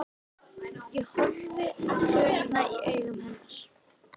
Ég horfi á kvölina í augum hennar.